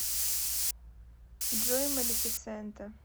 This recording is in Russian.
джой малефисента